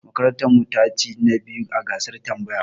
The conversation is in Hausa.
Makarantar mu ta chi na biyu a gasar tambaya.